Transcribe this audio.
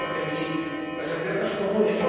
Debemos definir las amenazas comunes